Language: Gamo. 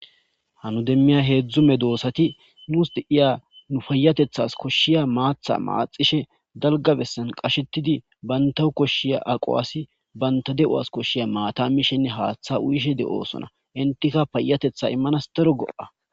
hanu demmiya heedzdzume doossati nuus deiya nu payatethas koshshiya maatha maaxishe dalgabessan qashetidi bantahu koshshiya aqo asi banta de7o as koshshiya maata mishenne haaththa uyishe de7osona intika payatetha immanas dero go7a